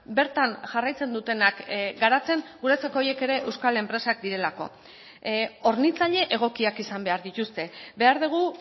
bertan jarraitzen dutenak garatzen guretzako horiek ere euskal enpresak direlako hornitzaile egokiak izan behar dituzte behar dugu